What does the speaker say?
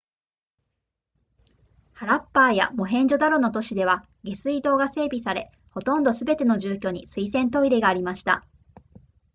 ハラッパーやモヘンジョダロの都市では下水道が整備されほとんどすべての住居に水洗トイレがありました